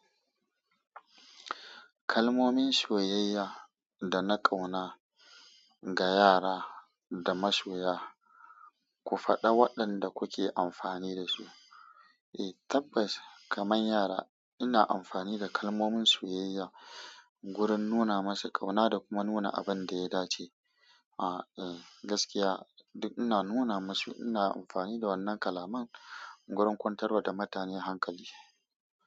Kalmomin soyayya da na ƙauna ga yara da masoya, ku faɗa waɗanda kuke amfani da su. Eh tabbas kamar yara ina amfani da kalmomin soyayya wurin nuna masu ƙauna da kuma nuna abin da ya dace. A eh gaskiya duk ina nuna masu ina amfani da wannan kalaman wurin kwantar wa da mutane hankali.